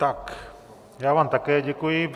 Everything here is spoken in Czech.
Tak já vám také děkuji.